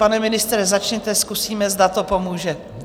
Pane ministře začněte, zkusíme, zda to pomůže.